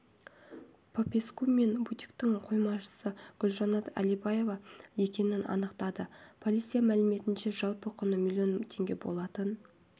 попеску мен бутиктің қоймашысы гүлжанат әлибаева екенін анықтады полиция мәліметінше жалпы құны миллион теңге болатын